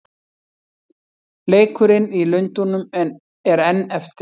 Leikurinn í Lundúnum er enn eftir.